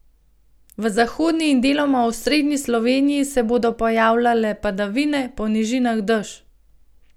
V zahodni in deloma osrednji Sloveniji se bodo pojavljale padavine, po nižinah dež.